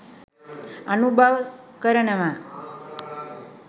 අනුභව කරනවා